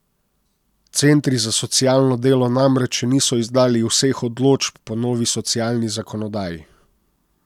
Centri za socialno delo namreč še niso izdali vseh odločb po novi socialni zakonodaji.